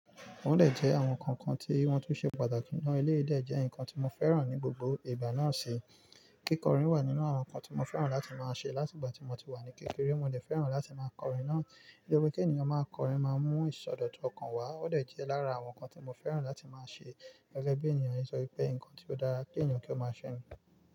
Tó dẹ jẹ́ àwọn kankan tí wọ́n tún ṣe pàtàkì nínú elé dẹ jẹ́ nǹkan tí mo fẹ́ràn ní gbogbo ìgbà náà sì. Kíkọrin wà nínú àwọn nǹkan tí mo fẹ́ràn láti máa ṣe látìgbà tí mo ti wà ní kékeré. Mo dẹ̀ fẹ́ràn láti máa kọrin náà. Torípé kí ènìyàn máa kọrin máa mú ìsọ dọ̀tu ọkàn wá ọdẹ̀ jẹ́ lára àwọn nǹkan tí mo fẹ́ràn láti máa ṣe gẹ́gẹ́ bí ènìyàn nítorí pé nnkan tí ó dára kí ènìyàn kí ó máa ṣe.